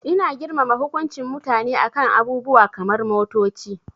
Ina girmama hukuncin mutane a kan abubuwa kamar motoci.